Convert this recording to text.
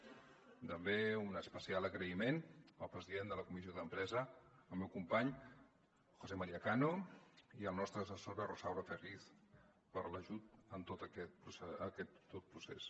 i també un especial agraïment al president de la comissió d’empresa el meu company josé maría cano i a la nostra assessora rosaura ferriz per l’ajut en tot aquest procés